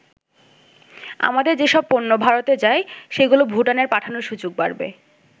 আমাদের যেসব পণ্য ভারতে যায় সেগুলো ভুটানের পাঠানোর সুযোগ বাড়বে।